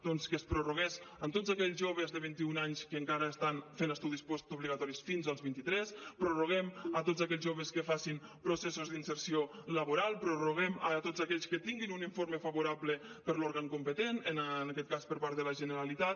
doncs que es prorrogués en tots aquells joves de vint i un anys que encara estan fent estudis postobligatoris fins als vint i tres ho prorroguem a tots aquells joves que facin processos d’inserció laboral ho prorroguem a tots aquells que tinguin un informe favorable per l’òrgan competent en aquest cas per part de la generalitat